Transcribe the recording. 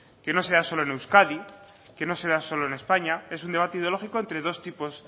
que no se da solo en euskadi que no se da solo en españa es un debate ideológico entre dos tipos